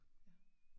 Ja